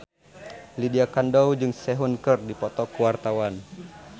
Lydia Kandou jeung Sehun keur dipoto ku wartawan